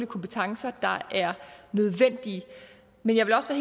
kompetencer der er nødvendige men jeg vil også